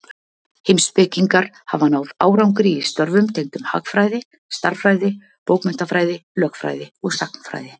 Heimspekingar hafa náð árangri í störfum tengdum hagfræði, stærðfræði, bókmenntafræði, lögfræði og sagnfræði.